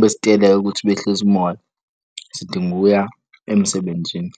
besiteleka ukuthi behlise umoya sidinga ukuya emsebenzini.